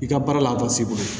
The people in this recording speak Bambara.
I ka baara la bɔ s'i bolo